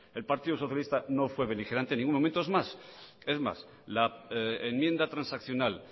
el partido socialista no fue beligerante en ningún momento es más es más la enmienda transaccional